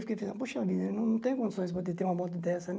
Fiquei pensando, poxa vida, não tenho condições para ter uma moto dessa, né?